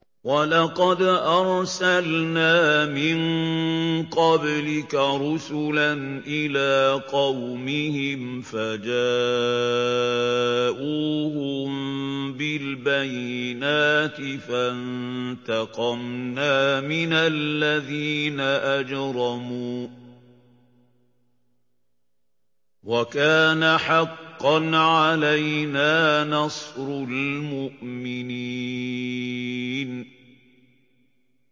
وَلَقَدْ أَرْسَلْنَا مِن قَبْلِكَ رُسُلًا إِلَىٰ قَوْمِهِمْ فَجَاءُوهُم بِالْبَيِّنَاتِ فَانتَقَمْنَا مِنَ الَّذِينَ أَجْرَمُوا ۖ وَكَانَ حَقًّا عَلَيْنَا نَصْرُ الْمُؤْمِنِينَ